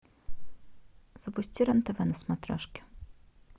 запусти рен тв на смотрешке